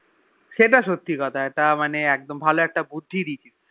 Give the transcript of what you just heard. সেটা সত্যি কথা এটা মানে একদম ভালো কত মানে বুদ্ধি দিয়েছিস